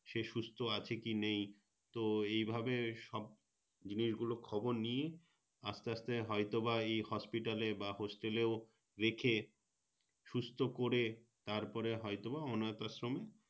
সে সুস্থ আছে কি নেই তো এইভাবে সব জিনিসগুলো খবর নিই আস্তে আস্তে হয়তো বা এই Hospital এ বা Hotsel এও রেখে সুস্থ করে তারপরে হয়তো বা অনাথ আশ্রমে